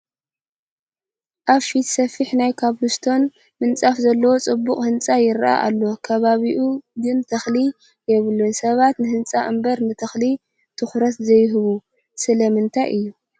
ኣብ ፊቱ ሰፊሕ ናይ ኮብል ስቶን ምንፃፍ ዘለዎ ፅቡቕ ህንፃ ይርአ ኣሎ፡፡ ከባቢኡ ግን ተኽሊ የብሉን፡፡ ሰባት ንህንፃ አምበር ንተኽሊ ትኹረት ዘይህቡ ስለምንታይ እዩ?